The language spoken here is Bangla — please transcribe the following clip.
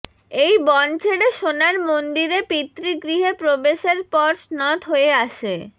এই বন ছেড়ে সোনার মন্দিরে পিতৃগৃহে প্রবেশের পর শ্নথ হয়ে আসে